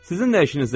Sizin nə işinizdə?